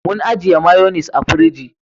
Mun ajiye mayonis a firiji